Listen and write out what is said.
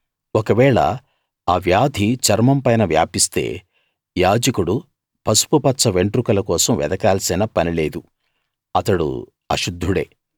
ఒకవేళ ఆ వ్యాధి చర్మంపైన వ్యాపిస్తే యాజకుడు పసుపుపచ్చ వెంట్రుకల కోసం వెదకాల్సిన పని లేదు అతడు అశుద్ధుడే